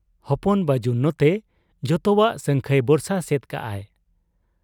ᱦᱚᱯᱚᱱ ᱵᱟᱹᱡᱩᱱ ᱱᱚᱛᱮ ᱡᱚᱛᱚᱣᱟᱜ ᱥᱟᱹᱝᱠᱷᱟᱹᱭ ᱵᱚᱨᱥᱟ ᱥᱮᱫ ᱠᱟᱜ ᱟᱭ ᱾